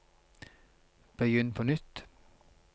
begynn på nytt